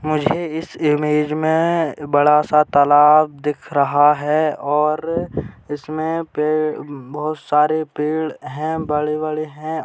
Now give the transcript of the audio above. मुझे इस इमेज में बड़ा सा तालाब दिख रहा है और इसमें पेड़ बहुत सारे पेड़ है बड़े-बड़े है।